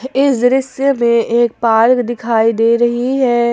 इस दृश्य में एक पार्क दिखाई दे रही है ।